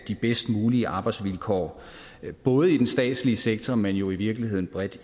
de bedst mulige arbejdsvilkår både i den statslige sektor men jo i virkeligheden bredt